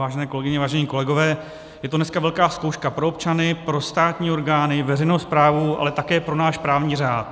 Vážené kolegyně, vážení kolegové, je to dneska velká zkouška pro občany, pro státní orgány, veřejnou správu, ale také pro náš právní řád.